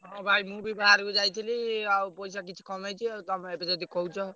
ହଁ ଭାଇ ମୁଁ ବି ବାହାରକୁ ଯାଇଥିଲି ଆଉ ପଇସା କିଛି କମେଇଛି ଆଉ ତମେ ଏବେ ଯଦି କହୁଛ।